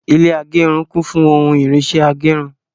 Ilé agẹrun kún fún ohun irinṣẹ agẹrun